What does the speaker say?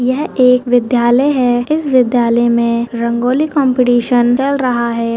यह एक विद्यालय है इस विद्यालय में रंगोली कॉम्पिटिशन चल रहा है।